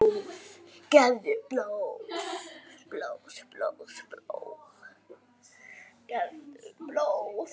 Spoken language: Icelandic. Gefðu blóð.